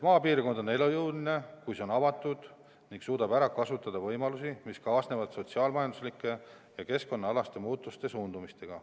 Maapiirkond on elujõuline, kui see on avatud ning suudab ära kasutada võimalusi, mis kaasnevad sotsiaal-majanduslike ja keskkonnaalaste muutuste ja suundumustega.